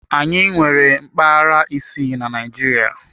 Anyị nwere mpaghara isii na Naịjirịa.